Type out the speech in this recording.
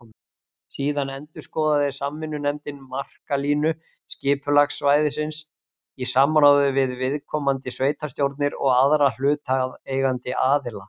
Síðan endurskoðaði samvinnunefndin markalínu skipulagssvæðisins í samráði við viðkomandi sveitarstjórnir og aðra hlutaðeigandi aðila.